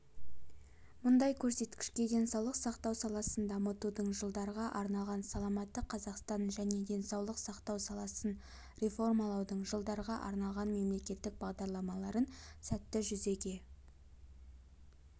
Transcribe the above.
мұндай көрсеткішке денсаулық сақтау саласын дамытудың жылдарға арналған саламатты қазақстан және денсаулық сақтау саласын реформалаудың жылдарға арналған мемлекеттік бағдарламаларын сәтті жүзеге